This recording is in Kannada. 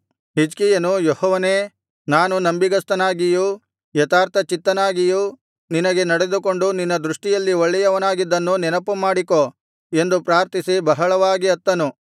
ಹಿಜ್ಕೀಯನು ಯೆಹೋವನೇ ನಾನು ನಂಬಿಗಸ್ತನಾಗಿಯೂ ಯಥಾರ್ಥಚಿತ್ತನಾಗಿಯೂ ನಿನಗೆ ನಡೆದುಕೊಂಡು ನಿನ್ನ ದೃಷ್ಟಿಯಲ್ಲಿ ಒಳ್ಳೆಯವನಾಗಿದ್ದನ್ನು ನೆನಪುಮಾಡಿಕೋ ಎಂದು ಪ್ರಾರ್ಥಿಸಿ ಬಹಳವಾಗಿ ಅತ್ತನು